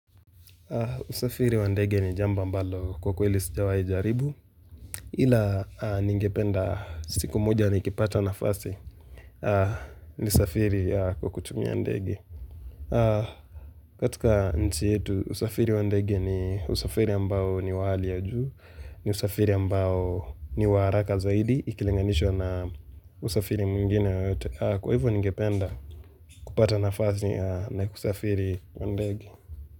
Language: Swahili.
Usafiri wa ndege ni jambo mbalo kwa kweli sijawai jaribu ila ningependa siku moja nikipata nafasi nisafiri kwa kutumia ndege. Katika nchi yetu, usafiri wa ndege ni usafiri ambao ni wa hali ya juu, ni usafiri ambao ni wa haraka zaidi, ikilinganishwa na usafiri mwingine yoyote. Kwa hivyo ningependa kupata nafasi na kusafiri kwa ndege.